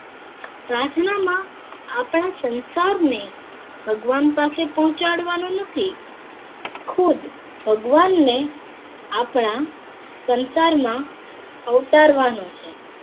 પ્રાર્થના માં આપણા સંસાર ને ભગવાન પાસે પહોંચાડવાનો નથી ખુદ ભગવાન ને આપણા સંસાર માં અવતારવાનું છે